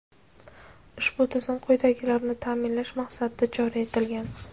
Ushbu tizim quyidagilarni taʼminlash maqsadida joriy etilgan:.